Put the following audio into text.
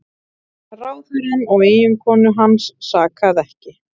Ráðherrann og eiginkonu hans sakaði ekki